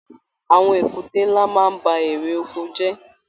Àwọn èkúté nlá máa n ba èrè oko jẹ.